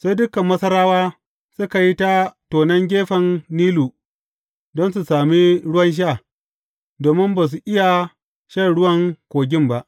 Sai dukan Masarawa suka yi ta tonon gefen Nilu don su sami ruwan sha, domin ba su iya shan ruwan kogin ba.